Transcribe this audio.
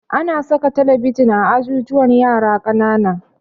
Ana saka talabijin a ajujuwan yara ƙanana